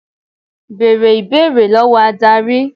Bẹ̀rẹ̀ ìbéèrè lọ́wọ́ Ádárì.